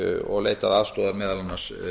og leitað aðstoðar meðal annars